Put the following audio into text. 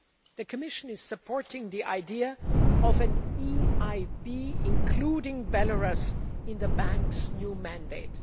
The Commission is supporting the idea of the EIB including Belarus in the Bank's new mandate.